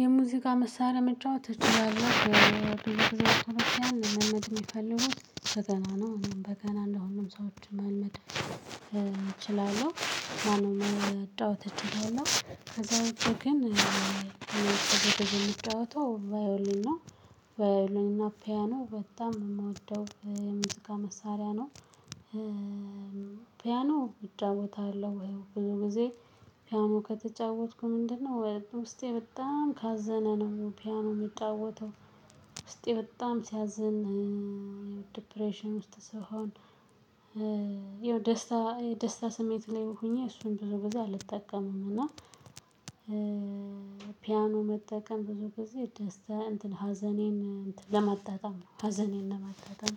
የሙዚቃ መሳሪያ መጫወት እችላለሁ የሚፈልጉት በገና ነው። እኔም በገና እንደማንኛውም ሰዎች መልመድ እችላለሁ ማለት ነው። መጣው ነው እና ከዛ ግን ደግሞ የሚጫወተው ቫዮሊን ነው። ቫዮሊና ፒያኖ በጣም ነው የምወደው ሙዚቃ መሳሪያ ነው። ፒያኖ እጫወታለሁ ብዙ ጊዜ ፒያኖ ከተጫወትኩ ምንድነው ወይ ውስጤ በጣም ካዘነ ነው ፒያኖ የምጫወተው? የምጫወተው ውስጤ በጣም ሲያዝን ዲፕሬሽን ውስጥ ስሆን ይኸው ደስታ ደስታ ስሜት ሊይም ሆኜ እሱን በብዙ አልጠቀምም። እና ፒያኖ መጠቀም ብዙ ጊዜ ደስታ ሀዘኔን ለማጣጣም ሀዘኔን ለማጣጣም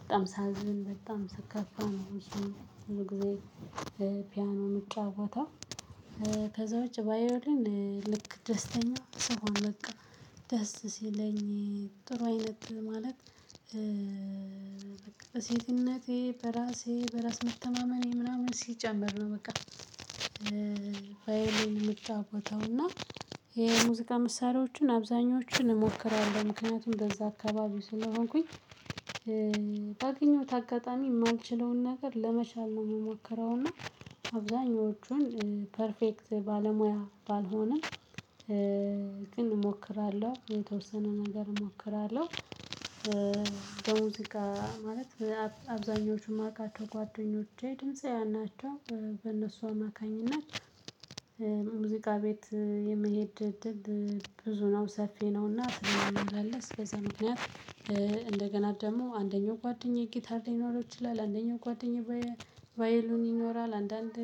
በጣም ሳዝን በጣም ሰከፋ ነው ሁሉ ጊዜ ፒያኖ ምጫወተው። ከዛ ውጪ ቫዮሊን ልክ ደስተኛ ስሆን በቃ ደስ ሲለኝ ጥሩ አይነት ማለት በሴትነቴ በራሴ በራስ መተማመኔ ምናምን ሲጨመር ነው። በቃ ባይሌን የምትጫወተው እና የሙዚቃ መሳሪያዎችን አብዛኞቹን እሞክራለሁ ምክንያቱም እንደዛ አካባቢ ስለሆንኩኝ። ባገኘሁት አጋጣሚ የማንችለውን ነገር ለመቻል ነው የሚሞከረው እና አብዛኞቹን ፐርፌክት ባለሙያ ባልሆንም። ግን እሞክራለሁኝ የተወሰነ ነገር እሞክራለሁ። በሙዚቃ ማለት አብዛኞቹ ማቃቸው ጓደኞቼ ድምፃውያን ናቸው በእነሱ አማካኝነት የሙዚቃ ቤት የምሄድ እድል ብዙ ነው ሰፊ ነውና። ትልቅ አንበል ስለዛ ምክንያት እንደገና ደግሞ አንደኛው ጓደኛዬ ጌታር ሊኖረው ይችላል አንደኛው ጓደኛው ቫይሉን ይኖራል አንዳንድ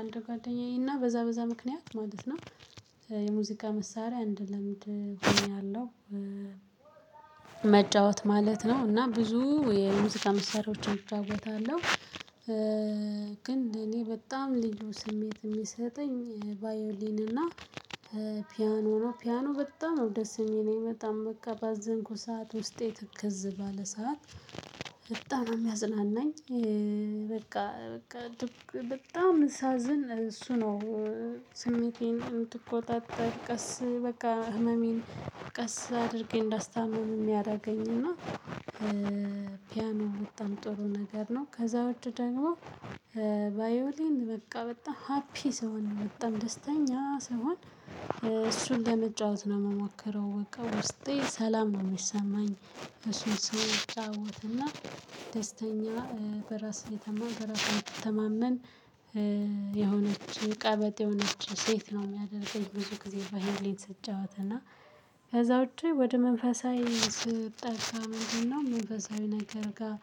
አንድ ጓደኛዬና በዛ በዛ ምክንያት ማለት ነው። የሙዚቃ መሳሪያ እንድለምድ ሆኛለሁ። መጫወት ማለት ነው እና ብዙ የሙዚቃ መሳሪያዎችን እጫውታለሁ። ግን ለኔ በጣም ልዩ ስሜት የሚሰጠኝ ቫዮሊን እና ፒያኖ ነው። ፒያኖ በጣም ነው ደስ የሚለኝ በጣም በቃ ባዘንኩ ሰዓት ውስጤ ትከዝ ባለ ሰዓት በጣም ነው የሚያዝናናኝ። በቃ በቃ በጣም ሳዝን እሱ ነው ስሜቴን እንድትቆጣጠር ቀስ በቃ ህመሜን ቀስ አድርጌ እንዳስታምኑም እሚያደረገኝና ፒያኖ በጣም ጥሩ ነገር ነው። ከዛ ወዲህ ደግሞ ቫዮሊን በቃ በጣም ሀፒ ስሆን ነው በጣም ደስተኛ ስሆን እሱን ለመጫወት ነው የምሞክረው በቃ ውስጤ ሰላም ነው የሚሰማኝ። እሱን ስጫወት እና ደስተኛ በራስ የተማመን የሆነች ቀበጥ የሆነች ሴት ነው የሚያደርገኝ። ብዙ ጊዜ ቫዮሊን ስትጫወት እና ከዛ ውጪ ወደ መንፈሳዊ ስትጠጋ ነው መንገድ አይነት ጋር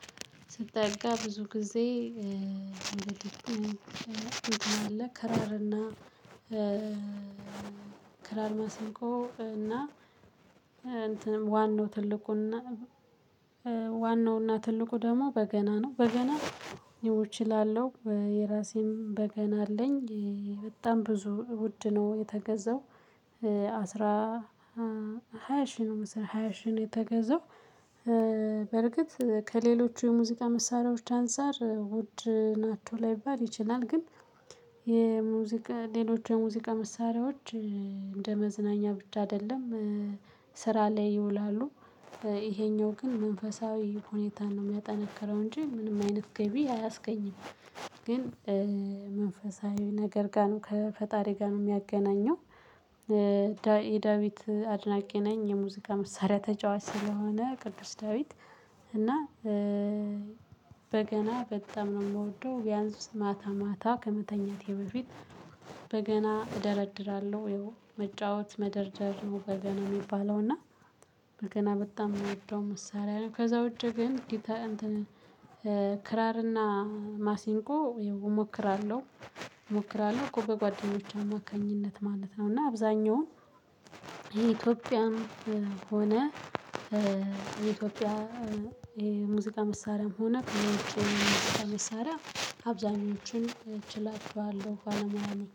ስትጠጋ ብዙ ጊዜ ከራርና ክራር ማሲንቆ እና እንትንም ዋናው ትልቁን ዋናውና ትልቁ ደግሞ በገና ነው። በገና ይው እችላለሁ የራሴም በገና አለኝ። በጣም ብዙ ውድ ነው የተገዛው አስራ ሃያ ሺህ ነው መስራት ሃያ ሺህ ነው የተገዛው። በርግጥ ከሌሎቹ የሙዚቃ መሳሪያዎች አንፃር ውድ ናቸው ላይባል ይችላል። ግን የሙዚቃ ሌሎች የሙዚቃ መሳሪያዎች እንደ መዝናኛ ብቻ አይደለም ስራ ላይ ይውላሉ። ይሄኛው ግን መንፈሳዊ ሁኔታን ነው የሚያጠነክረው እንጂ ምንም አይነት ገቢ አያስገኝም። ግን መንፈሳዊ ነገር ጋር ነው ከፈጣሪ ጋር ነው የሚያገናኘው። የዳዊት አድናቂ ነኝ የሙዚቃ መሳሪያ ተጫዋች ስለሆነ ቅዱስ ዳዊት እና በገና በጣም ነው የምወደው። ቢያንስ ማታ ማታ ከመተኛቴ በፊት በገና እደረድራለሁ መጫወት መደርደር ነው በገና የሚባለው እና በገና በጣም የምወደው መሳሪያ ነው። ከዛ ውጪ ግን ክራርና ማሲንቆ እሞክራለሁ እሞክራለሁ እኮ በጓደኞቼ አማካኝነት ማለት ነው። እና አብዛኛውን የኢትዮጵያም ሆነ ኢትዮጵያ የሙዚቃ መሳሪያም ሆነ የውጭ ሙዚቃ ከመሳሪያ አብዛኞቹን እችላቸዋለሁ ባለሞያ ነኝ።